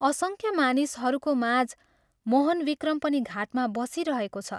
असंख्य मानिसहरूको माझ मोहनविक्रम पनि घाटमा बसिरहेको छ।